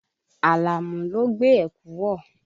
Àlàmú ló gbé ẹ̀kú wọ̀.